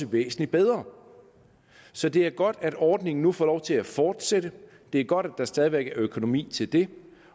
væsentligt bedre så det er godt at ordningen nu får lov til at fortsætte det er godt at der stadig væk er økonomi til det